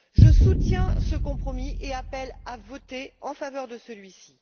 Je soutiens ce compromis et appelle à voter en faveur de celui ci.